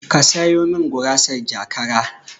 Ka sayo min gurasar jakara